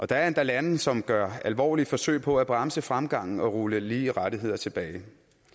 der er endda lande som gør alvorlige forsøg på at bremse fremgangen og rulle lige rettigheder tilbage